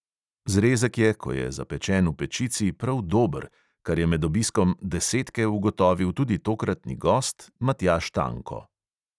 Zrezek je, ko je zapečen v pečici, prav dober, kar je med obiskom desetke ugotovil tudi tokratni gost matjaž tanko.